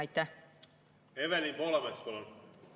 Evelin Poolamets, palun!